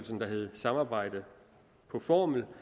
som hedder samarbejde på formel